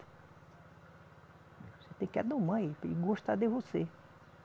Você tem que adomar ele, para ele gostar de você.